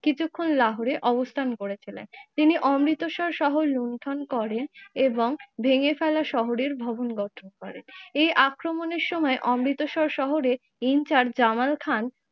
কিছুক্ষন লাহোরে অবস্থান করেছিলেন। তিনি অমৃতসর শহর লুন্ঠন করেন ভেঙে ফেলা শহরের ভবন গত্র করেন। এর আক্রমণের সময় অমৃতসর শহরে ইনচার্জ জামাল খান